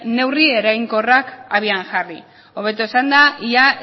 neurri eraginkorrik abian jarri hobeto esanda ia